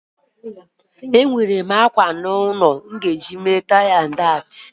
Enwerem àkwá nọ n'ulọ a ga-agba àkwá agba, agam azụta agba